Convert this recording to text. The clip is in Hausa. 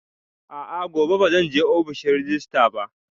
A'a, gobe ba zan je ofishin rejista ba